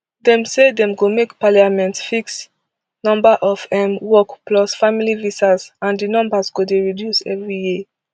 dem say dem go make parliament fix number of um work plus family visas and di numbers go dey reduce every year